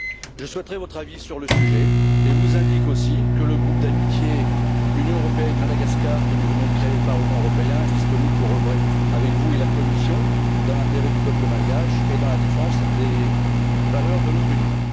Je souhaiterais votre avis sur le sujet et vous indique aussi que le groupe d'amitié Union européenne Madagascar, que nous venons de créer au Parlement européen, est disponible pour œuvrer avec vous et la Commission dans l'intérêt du peuple malgache et pour la défense des valeurs de notre Union.